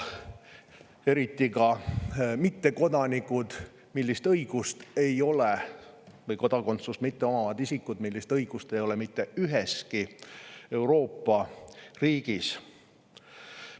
Eriti kodakondsust mitteomavaid isikuid, kusjuures sellist õigust ei ole mitte üheski Euroopa riigis.